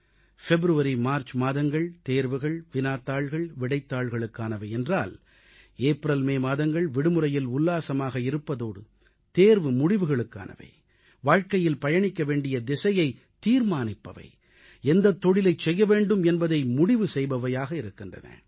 பிப்ரவரிமார்ச் மாதங்கள் தேர்வுகள் வினாத்தாள்கள் விடைத்தாள்களுக்கானவை என்றால் ஏப்ரல்மே மாதங்கள் விடுமுறையில் உல்லாசமாக இருப்பதோடு தேர்வுமுடிவுகளுக்கானவை வாழ்க்கையில் பயணிக்க வேண்டிய திசையைத் தீர்மானிப்பவை எந்தத் தொழிலைச் செய்ய வேண்டும் என்பதை முடிவு செய்பவையாக இருக்கின்றன